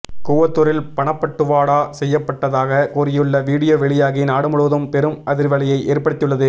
கூவத்தூரில் பணப்பட்டுவாடா செய்யப்பட்டதாக கூறியுள்ள வீடியோ வெளியாகி நாடுமுழுவதும் பெரும் அதிர்வலையை ஏற்படுத்தியுள்ளது